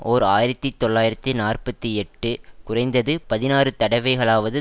ஓர் ஆயிரத்தி தொள்ளாயிரத்தி நாற்பத்தி எட்டு குறைந்தது பதினாறு தடவைகளாவது